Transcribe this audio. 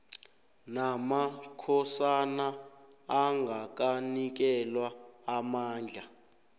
namakhosana angakanikelwa amandla